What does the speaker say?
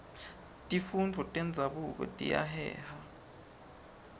tifundvo tenzabuko tiyaheha